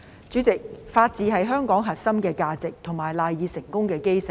主席，法治是香港的核心價值及賴以成功的基石。